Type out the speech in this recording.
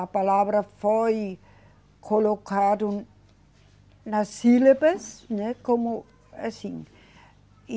A palavra foi colocado nas sílabas, né, como assim.